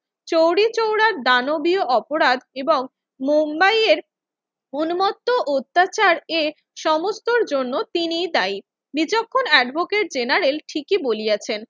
চৌরিচৌরার দানবীয় অপরাধ এবং মুম্বাইয়ের উন্মত্ত অত্যাচার এ সমস্তর জন্য তিনিই দায়ী। বিচক্ষণ এডভোকেট জেনারেল ঠিকই বলিয়াছেন।